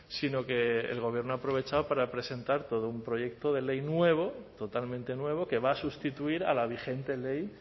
sino que el gobierno ha aprovechado para presentar todo un proyecto de ley nuevo totalmente nuevo que va a sustituir a la vigente ley